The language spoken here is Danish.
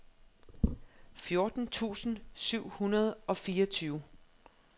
fjorten tusind syv hundrede og fireogtyve